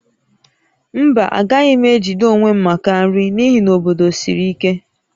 Mba, agaghị m ejide onwe m maka nri n'ihi na obodo siri ike